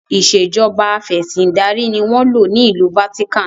Ìsèjọba afẹ̀sindarí ni wọn ń lò ní ìlú 'Vatican'.